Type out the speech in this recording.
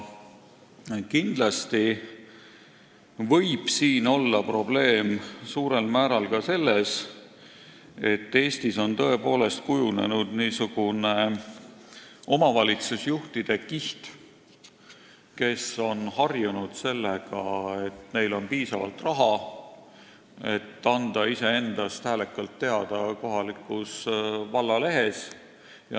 Kindlasti võib siin olla probleem suurel määral ka selles, et Eestis on tõepoolest kujunenud omavalitsusjuhtide kiht, kes on harjunud sellega, et neil on piisavalt raha andmaks iseendast häälekalt teada kohalikus vallalehes.